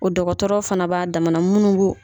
O dɔgɔtɔrɔ fana b'a damana munnu b'u.